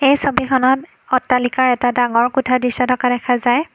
এই ছবিখনত অট্টালিকাৰ এটা ডাঙৰ কোঠাৰ দৃশ্য থকা দেখা যায়।